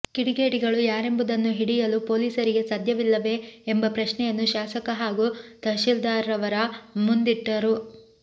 ಕಿಡಿಗೇಡಿಗಳು ಯಾರೆಂಬುದನ್ನು ಹಿಡಿಯಲು ಪೋಲೀಸರಿಗೆ ಸಾಧ್ಯವಿಲ್ಲವೆ ಎಂಬ ಪ್ರಶ್ನೆಯನ್ನು ಶಾಸಕ ಹಾಗೂ ತಹಸೀಲ್ದಾರ್ರವರ ಮುಂದಿಟ್ಟರು